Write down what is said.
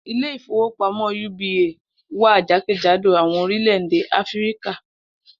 Ilé ìfowópamó̩ uba wà jákèjádò àwo̩n orílè̩-èdè Áfíríkà